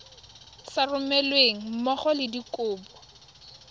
sa romelweng mmogo le dikopo